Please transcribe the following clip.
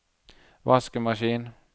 vaskemaskin